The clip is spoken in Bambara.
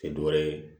Tɛ dɔ wɛrɛ ye